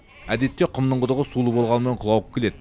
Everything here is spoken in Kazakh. әдетте құмның құдығы сулы болғанымен құлауық келеді